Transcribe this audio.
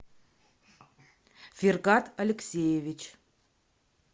фергат алексеевич